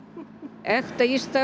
ekta